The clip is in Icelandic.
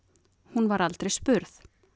hún var aldrei spurð